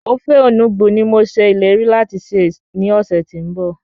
Ofe enugbe ni mo ṣe ìlérí láti sè ní ọ̀sẹ̀ tí ń bọ̀